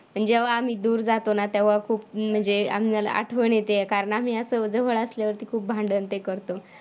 पण जेव्हा आम्ही दूर जातो ना तेव्हा खूप म्हणजे आम्हाला आठवण येते कारण आम्ही असं जवळ असल्यावरती खूप भांडण ते करतो.